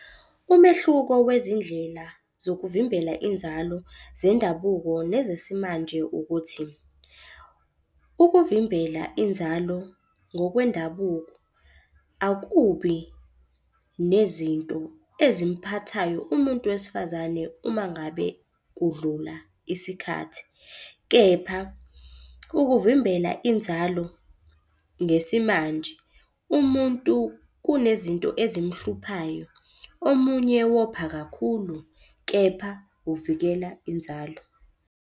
Umehluko wezindlela zokuvimbela inzalo zendabuko nezesimanje ukuthi, ukuvimbela inzalo ngokwendabuko akubi nezinto ezimphathayo umuntu wesifazane uma ngabe kudlula isikhathi. Kepha ukuvimbela inzalo ngesimanje, umuntu kunezinto ezimhluphayo, omunye wopha kakhulu kepha uvikela inzalo.